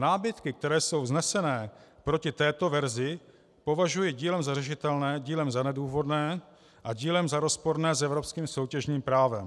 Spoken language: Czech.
Námitky, které jsou vzneseny proti této verzi, považuji dílem za řešitelné, dílem za nedůvodné a dílem za rozporné s evropským soutěžním právem.